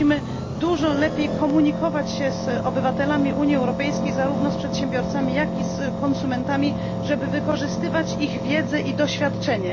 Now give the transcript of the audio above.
Musimy dużo lepiej komunikować się z obywatelami Unii Europejskiej, zarówno z przedsiębiorcami, jak i z konsumentami, żeby wykorzystywać ich wiedzę i doświadczenie.